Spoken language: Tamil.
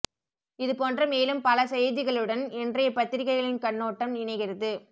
இது போன்ற மேலும் பல செய்திகளுடன் இன்றைய பத்திரிகைகளின் கண்ணோட்டம் இணைகிறது